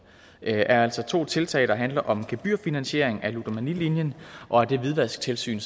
er altså to tiltag der handler om gebyrfinansiering af ludomanilinjen og af det hvidvasktilsyn